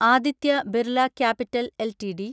Aditya Birla capital LTD